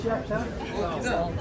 Onların çoxsunu götür.